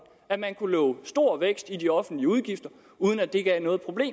at man kunne love stor vækst i de offentlige udgifter uden at det gav noget problem